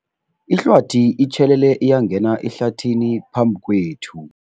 Ihlwathi itjhelele yangena ehlathini phambi kwethu.